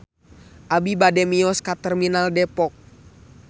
Abi bade mios ka Terminal Depok